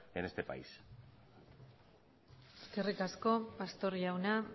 en este país eskerrik asko pastor jauna